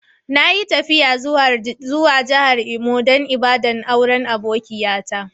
Na yi tafiya zuwa jihar Imo dan ibada'n auren akokiya ta.